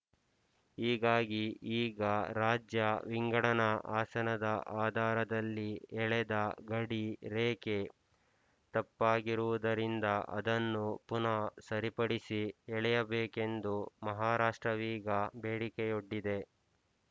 ಹೀಗಾಗಿ ಈಗ ರಾಜ್ಯ ವಿಂಗಡಣಾ ಆಸನದ ಆಧಾರದಲ್ಲಿ ಎಳೆದ ಗಡಿ ರೇಖೆ ತಪ್ಪಾಗಿರುವುದರಿಂದ ಅದನ್ನು ಪುನಃ ಸರಿಪಡಿಸಿ ಎಳೆಯಬೇಕೆಂದು ಮಹಾರಾಷ್ಟ್ರವೀಗ ಬೇಡಿಕೆಯೊಡ್ಡಿದೆ